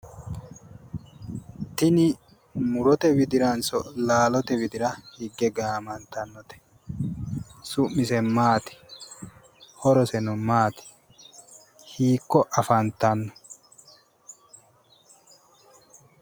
Tini murote widiranso laalote widira higge gaamantannote? Su'misa maati? Horoseno maati? Hiikko afantanno?